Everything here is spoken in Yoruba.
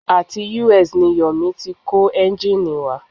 Àti US ni Yomi ti kó ẹ́ngìnì wá.